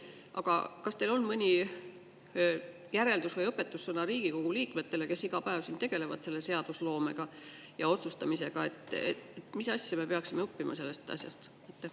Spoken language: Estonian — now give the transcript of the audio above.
Aga kas teil on mõni järeldus või õpetussõna Riigikogu liikmetele, kes iga päev siin tegelevad seadusloomega ja otsustamisega, mida me peaksime õppima sellest asjast?